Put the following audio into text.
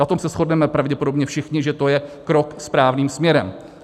Na tom se shodneme pravděpodobně všichni, že to je krok správným směrem.